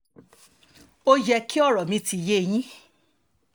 ó yẹ kí ọ̀rọ̀ mi ti yé yín